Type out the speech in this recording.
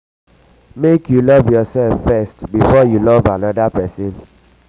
make you love yoursef first before you love um anoda person.